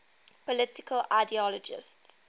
political ideologies